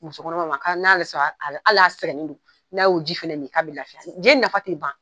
Musokɔnɔmaw ma ko n'a bi hal'a sɛgɛnnen don, n'a y'o ji fɛnɛ min, ka bi lafiya je nafa ti ban.